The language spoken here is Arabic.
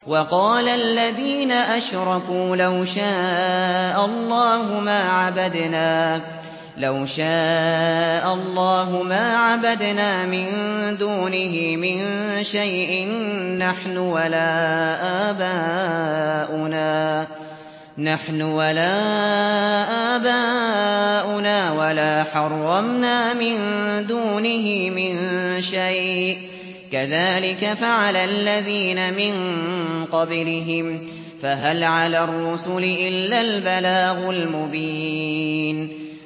وَقَالَ الَّذِينَ أَشْرَكُوا لَوْ شَاءَ اللَّهُ مَا عَبَدْنَا مِن دُونِهِ مِن شَيْءٍ نَّحْنُ وَلَا آبَاؤُنَا وَلَا حَرَّمْنَا مِن دُونِهِ مِن شَيْءٍ ۚ كَذَٰلِكَ فَعَلَ الَّذِينَ مِن قَبْلِهِمْ ۚ فَهَلْ عَلَى الرُّسُلِ إِلَّا الْبَلَاغُ الْمُبِينُ